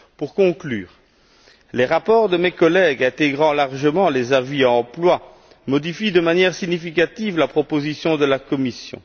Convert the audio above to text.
Pour conclure, les rapports de mes collègues intègrent largement les avis de la commission Emploi et modifient de manière significative la proposition de la Commission.